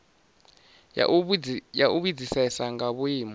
ya u vhudzisesa nga vhuimo